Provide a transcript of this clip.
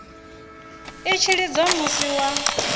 i tshi lidziwa musi wa